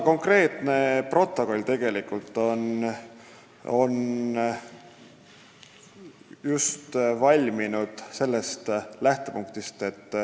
Konkreetne protokoll peab tegelikult ka seda silmas.